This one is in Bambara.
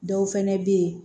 Dɔw fɛnɛ bɛ ye